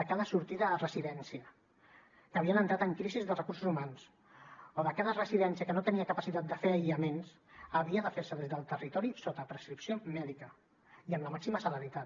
de cada sortida a residència que havien entrat en crisi de recursos humans o de cada residència que no tenia capacitat de fer aïllaments havia de fer se des del territori sota prescripció mèdica i amb la màxima celeritat